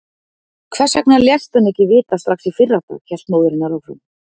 Hvers vegna léstu hann ekki vita strax í fyrradag, hélt móðir hennar áfram.